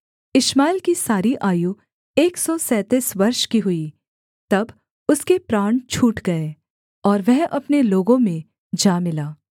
इश्माएल की सारी आयु एक सौ सैंतीस वर्ष की हुई तब उसके प्राण छूट गए और वह अपने लोगों में जा मिला